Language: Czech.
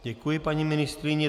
Děkuji, paní ministryně.